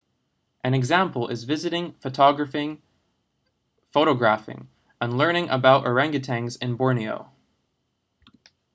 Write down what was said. an example is visiting photographing and learning about organgatuangs in borneo